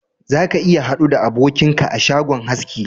Za ka iya hadu da abokinka a shagon haski